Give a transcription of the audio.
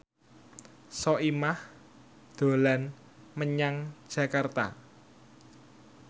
Soimah dolan menyang Jakarta